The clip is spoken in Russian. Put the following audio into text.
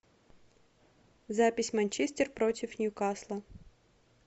запись манчестер против ньюкасла